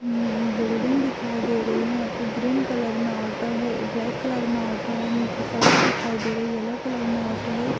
हम् building दिखाई दे रही है ग्रीन कलर ऑटो दिखाई दे दिया ब्लैक कलर में ऑटो है येलो कलर में होता है।